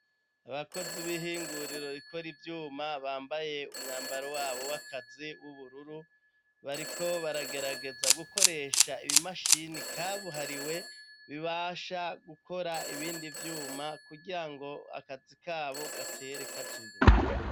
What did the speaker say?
Abakozi b'ihinguriro rikora ivyuma bambaye umwambaro wabo w'akazi w'ubururu, bariko baragerageza gukoresha ibimashini kabuhariwe bibasha gukora ibindi vyuma kugira ngo akazi kabo gatere kaja imbere.